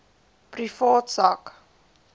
privaat sak